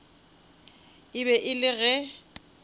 e be e le ge